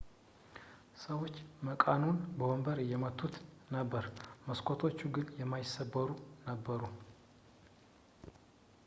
ሰዎች መቃኑን በወንበር እየመቱት ነበር መስኮቶቹ ግን የማይሰበሩ ነበሩ